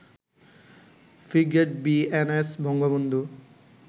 frigate BNS Bangabandhu